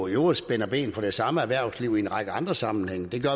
øvrigt spænder ben for det samme erhvervsliv i en række andre sammenhænge det gør